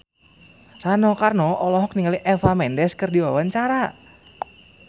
Rano Karno olohok ningali Eva Mendes keur diwawancara